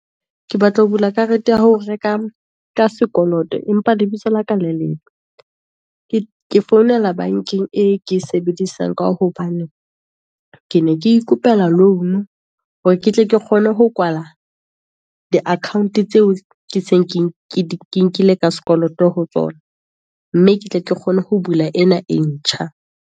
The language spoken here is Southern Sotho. Ke batla ho bula karete ya ho reka ka sekoloto, empa lebitso la ka lelebe, ke founela bankeng e ke e sebedisang, ka hobane ke ne ke ikopela loan-o, hore ke tle ke kgone ho kwala di account tseo, ke nkile ka sekoloto ho tsona. Mme ke tle ke kgone ho bula ena e ntjha.